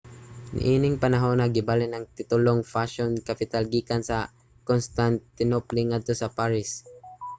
niining panahona gibalhin ang titulong fashion capital gikan sa constantinople ngadto sa paris